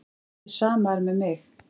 Hið sama er með mig.